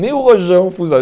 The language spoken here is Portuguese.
Nem o Rojão funcionava.